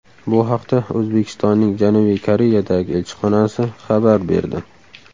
Bu haqda O‘zbekistonning Janubiy Koreyadagi elchixonasi xabar berdi .